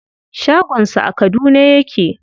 Shagon sa a Kaduna yake.